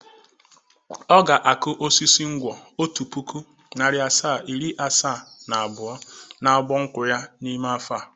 Ọ ga-akụ osisi nkwọ otu puku, nari asaa, iri asaa na abụọ n'abọ nkwụ ya n'ime afọ a.